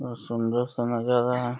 बहुत सुन्दर सा नज़ारा है।